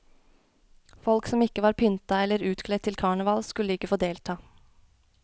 Folk som ikke var pynta eller utkledt til karneval skulle ikke få delta.